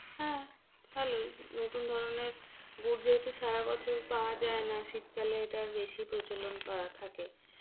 হ্যাঁ ভালোই নতুন ধরনের গুড় যেহেতু সারা বছর পাওয়া যায় না শীতকালে এটার বেশি প্রচলন পা থাকে